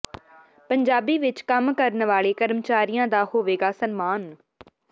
ਪੰਜਾਬੀ ਵਿਚ ਕੰਮ ਕਰਨ ਵਾਲੇ ਕਰਮਚਾਰੀਆਂ ਦਾ ਹੋਵੇਗਾ ਸਨਮਾਨ